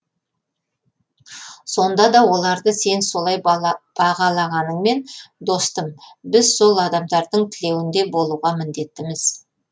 сонда да оларды сен солай бағалағаныңмен достым біз сол адамдардың тілеуінде болуға міндеттіміз